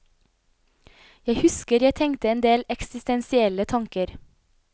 Jeg husker jeg tenkte en del eksistensielle tanker.